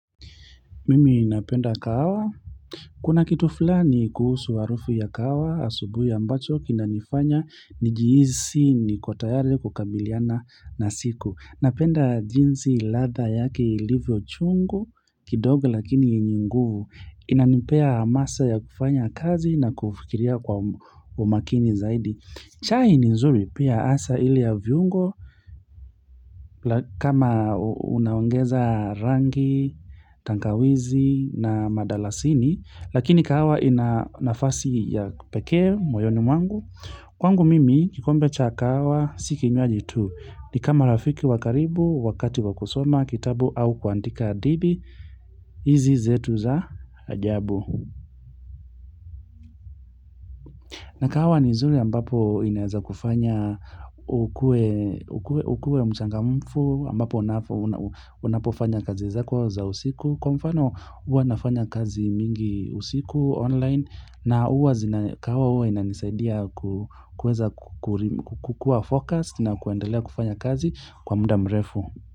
Mimi napenda kahawa, kuna kitu fulani kuhusu harufu ya kahawa, asubuhi ambacho, kinanifanya, nijihisi, niko tayari, kukabiliana na siku. Napenda jinsi ladha yake ilivyo chungu, kidogo lakini yenye nguvu, inanipea hamasa ya kufanya kazi na kufikiria kwa umakini zaidi. Chai ni nzuri pia hasa ile ya viungo kama unaongeza rangi, tangawizi na madalasini Lakini kahawa ina nafasi ya kipekee moyoni mwangu Kwangu mimi kikombe cha kahawa si kinywaji tu ni kama rafiki wa karibu, wakati wa kusoma, kitabu au kuandika hadithi hizi zetu za ajabu na kahawa ni nzuri ambapo inaweza kufanya ukuwe mchangamfu ambapo unapofanya kazi zako za usiku. Kwa mfano huwa nafanya kazi mingi usiku online na huwa zina kahawa huwa inanisaidia kuweza kukuwa focused na kuendelea kufanya kazi kwa muda mrefu.